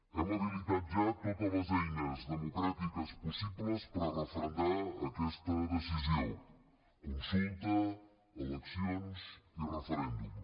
hem habilitat ja totes les eines democràtiques possibles per a referendar aquesta decisió consulta eleccions i referèndum